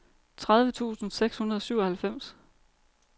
tredive tusind seks hundrede og syvoghalvfems